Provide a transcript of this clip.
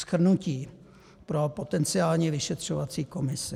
Shrnutí pro potenciální vyšetřovací komisi.